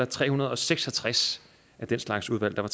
tre hundrede og seks og tres af den slags udvalg der